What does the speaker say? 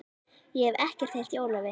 Ég hef ekkert heyrt í Ólafi.